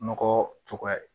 Nɔgɔ cogoya